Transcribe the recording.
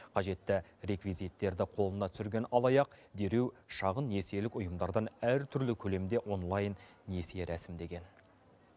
қажетті реквизиттерді қолына түсірген алаяқ дереу шағын несиелік ұйымдардан әртүрлі көлемде онлайн несие рәсімдеген